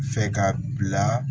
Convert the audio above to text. Fɛ ka bila